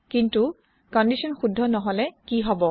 কিন্তু কন্দিচ্যন শুদ্ধ নহলে কি হব